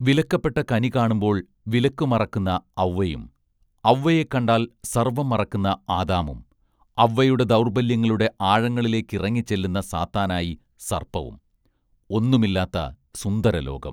വിലക്കപ്പെട്ട കനി കാണുമ്പോൾ വിലക്കുമറക്കുന്ന ഔവ്വയും ഔവ്വയെക്കണ്ടാൽ സർവ്വം മറക്കുന്ന ആദാമും ഔവ്വയുടെ ദൗർബല്യങ്ങളുടെ ആഴങ്ങളിലേക്കിറങ്ങിച്ചെല്ലുന്ന സാത്താനായി സർപ്പവും ഒന്നുമില്ലാത്ത സുന്ദരലോകം